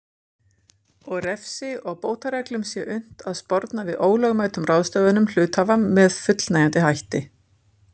og refsi og bótareglum sé unnt að sporna við ólögmætum ráðstöfunum hluthafa með fullnægjandi hætti.